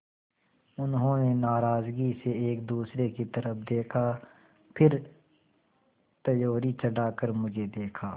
उन्होंने नाराज़गी से एक दूसरे की तरफ़ देखा फिर त्योरी चढ़ाकर मुझे देखा